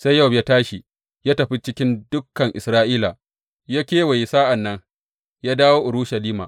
Sai Yowab ya tashi ya tafi cikin dukan Isra’ila, ya kewaye sa’an nan ya dawo Urushalima.